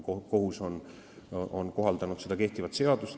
Kohus on kohaldanud kehtivat seadust.